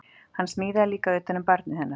Hann smíðaði líka utan um barnið hennar